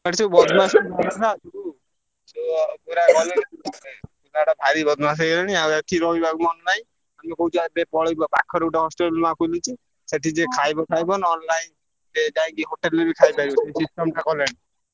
ସେଠି ସବୁ ଇଏ ପୁରା ଗଲେଇଂ ପିଲା ଗୁଡା ଭାରି ବଦମାସ ହେଇଗଲେଣି ଆଉ ଏଠି ରହିବାକୁ ମନ ନାହିଁ। ଆମେ କହୁଛୁ ଏବେ ପଳେଇବୁ ପାଖରେ ଗୋଟେ hostel ନୁଆ ଖୋଲିଛି ସେଠି ଯିଏ ଖାଇଲେ ଖାଇବ ନହେଲେ ନାଇଁ। ସେ ଯାଇଁକି hostel ରେ ବି ଖାଇପାରିବ କଲେଣି।